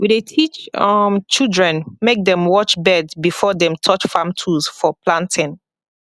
we dey teach um children make dem watch bird before dem touch farm tools for planting